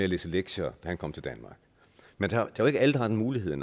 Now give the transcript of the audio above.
læse lektier da han kom til danmark men det er jo ikke alle der har den mulighed